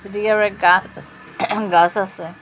ওদিকে অনেক গাস আহ গাস আসে।